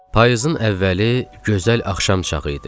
Payızın əvvəli gözəl axşam çağı idi.